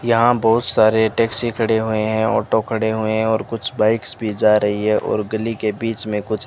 यहां बहुत सारे टैक्सी खड़े हुए हैं ऑटो खड़े हुए हैं और कुछ बाइक्स भी जा रही है और गली के बीच में कुछ --